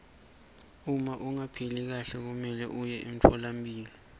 uma ungaphili kahle kumelwe uye emtfolampilo